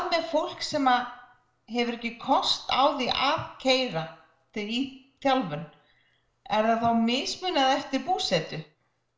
með fólk sem hefur ekki kost á því að keyra í þjálfun er því þá mismunað eftir búsetu